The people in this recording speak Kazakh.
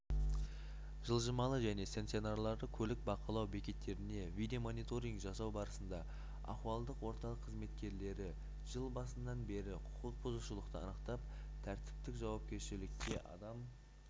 жылжымалы және стационарлы көлік бақылау бекеттеріне видео-мониторинг жасау барысында ахуалдық орталық қызметкерлері жыл басынан бері құқық бұзушылықты анықтап тәртіптік жауапкершілікке адам